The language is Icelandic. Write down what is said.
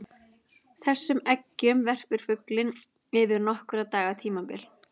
Þessum eggjum verpir fuglinn yfir nokkurra daga tímabil.